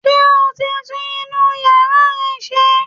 Ṣé o ti tún inú yàrá yẹn ṣe?